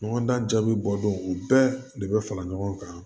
Ɲɔgɔn dan bi bɔ dɔnw o bɛɛ de be fara ɲɔgɔn kan